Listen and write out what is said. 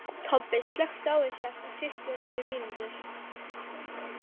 Tobbi, slökktu á þessu eftir tuttugu og níu mínútur.